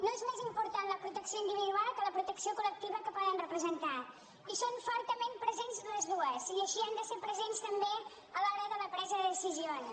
no és més important la protecció individual que la protecció col·lectiva que poden representar hi són fortament presents les dues i així han de ser presents també a l’hora de la presa de decisions